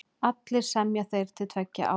Allir semja þeir til tveggja ára.